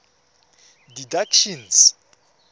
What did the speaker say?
didactician